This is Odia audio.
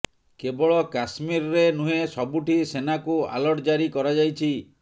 କେବଳ କାଶ୍ମୀରରେ ନୁହେଁ ସବୁଠି ସେନାକୁ ଆଲର୍ଟ ଜାରି କରାଯାଇଛି